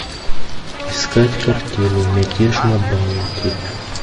искать картину мятеж на баунти